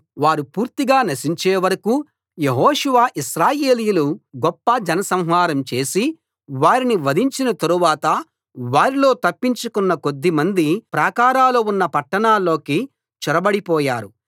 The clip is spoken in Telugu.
వారు పూర్తిగా నశించే వరకూ యెహోషువ ఇశ్రాయేలీయులు గొప్ప జనసంహారం చేసి వారిని వధించిన తరువాత వారిలో తప్పించుకొన్న కొద్దిమంది ప్రాకారాలు ఉన్న పట్టణాల్లోకి చొరబడిపోయారు